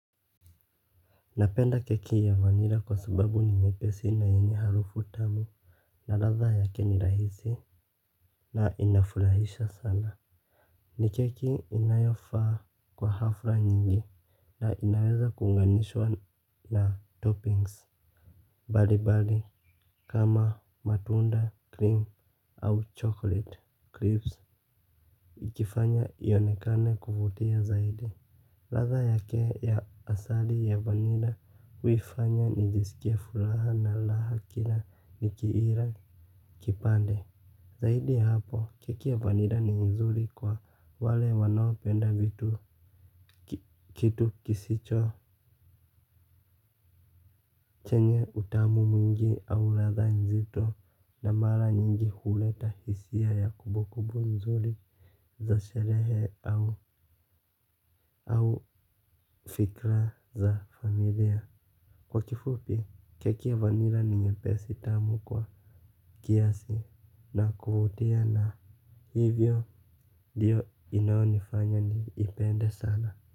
Napenda keki ya vanila kwa sababu ni nyepesi na yenye harufu tamu. Na ladha yake ni rahisi. Na inafurahisha sana. Ni keki inayofaa kwa hafla nyingi na inaweza kuunganishwa na toppings mbalimbali. Kama matunda cream au chocolate creams ikifanya ionekane kuvutia zaidi ladha yake ya asali ya vanila huifanya nijisikie furaha na raha kila nikiila kipande. Zaidi ya hapo, keki ya vanila ni nzuri kwa wale wanaopenda vitu kitu kisicho chenye utamu mwingi au ladha nzito na mara nyingi kuleta hisia ya kumbukumbu nzuri za sherehe au fikra za familia. Kwa kifupi keki ya vanila ni nyepesi tamu kwa kiasi na kuvutia na hivyo ndio inaonifanya niipende sana.